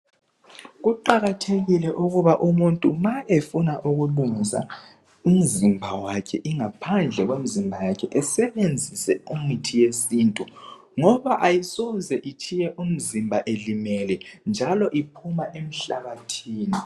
Kuqakathekile ukuba umuntu ma efuna ukulungisa umzimba wakhe ingaphandle komzimba wakhe asebenzise imithi yesintu ngoba ayisoze itshiye umzimba elimele njalo iphuma emhlabathini.